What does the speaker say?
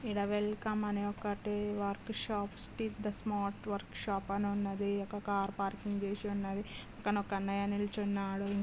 ఈడ వెల్కమ్ అని ఒకటి వర్క్ షాప్ స్టి ద స్మార్ట్ వర్క్ షాప్ అనున్నది. ఒక కార్ పార్కింగ్ చేషి ఉన్నది. క్కన ఒక అన్నయ్య నిల్చున్నాడు. ఇంకో